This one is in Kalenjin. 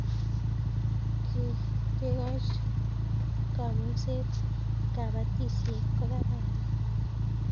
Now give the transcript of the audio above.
kekoch kamukset kabatisiet ko kararan